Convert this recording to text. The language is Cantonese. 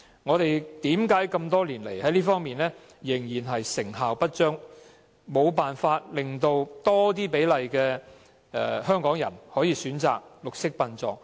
為何多年來這方面的工作仍然成效不彰，無法令更多比例的香港人可以選擇綠色殯葬？